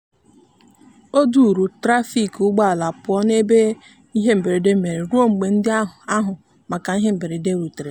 o duuru trafik ụgbọala pụọ n'ebe ihe mberede mere ruo mgbe ndị n'ahụ maka ihe mberede rutere.